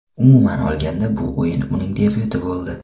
Umuman olganda bu o‘yin uning debyuti bo‘ldi.